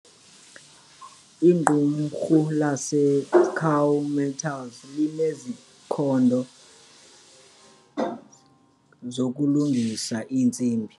Iqumrhu laseScaw Metals linezikhando zokulungisa iintsimbi.